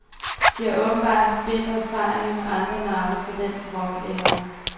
De har åbenbart haft bitre erfaringer med andre navne fra den rockæra.